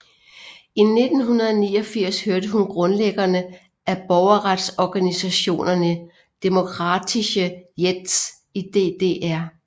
I 1989 hørte hun til grundlæggerne af borgerretsorganisationen Demokratie Jetzt i DDR